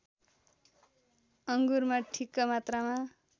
अङ्गुरमा ठिक्क मात्रामा